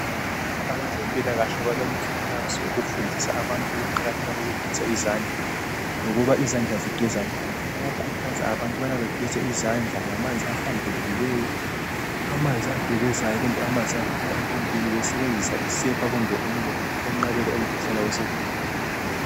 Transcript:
Abezempilakahle balomkuthazo wokufundisa abantu ukuqakatheka kokugeza izandla lokuba izandla zigezwa njani. Bayakhuthaza abantu ukubana bageze izandla ngamanzi ahlambulekileyo, amanzi agelezayo, kumbe amanzi aphuma empompini besebenzisa isepa kumbe umlotha ukuvikela umkhuhlane wesihudo